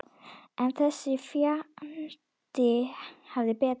En þessi fjandi hafði betur.